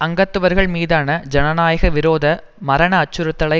அங்கத்தவர்கள் மீதான ஜனநாயக விரோத மரண அச்சுறுத்தலை